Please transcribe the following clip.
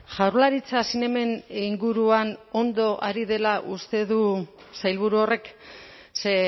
jaurlaritza zinemen inguruan ondo ari dela uste du sailburu horrek ze